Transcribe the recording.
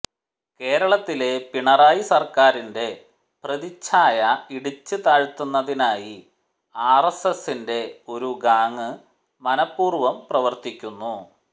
കേരളത്തിലെ പിണറായി സര്ക്കാറിന്റെ പ്രതിഛായ ഇടിച്ച് താഴ്ത്തുന്നതിനായി ആര് എസ്എസിന്റെ ഒരു ഗാങ് മനപ്പൂര്വം പ്രവര്ത്തിക്കുന്നു